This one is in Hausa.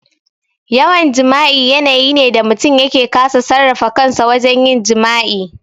Yawan jima'i yanayi ne da mutum yake kasa sarrafa kansa wajen yin jima'i.